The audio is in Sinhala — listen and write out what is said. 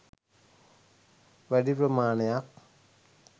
වැඩි ප්‍රමාණයක්